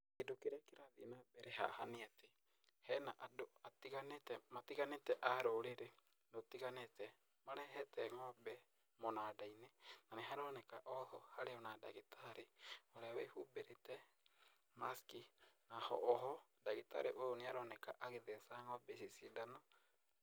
Kĩndũ kĩrĩa kĩrathiĩ na mbere haha nĩ atĩ hena andũ matiganĩte, a rũrĩrĩ rũtiganĩte marehete ng'ombe mũnanda-inĩ, na nĩ haroneka o harĩ o na ndagĩtarĩ ũrĩa wĩhumbĩrĩte mask, na o ho ndagĩtarĩ ũyũ nĩ aroneka agĩtheca ng'ombe ici cindano.